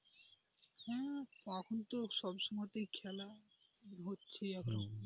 এখন তো সব সময় তো খেলা হচ্ছে এখন,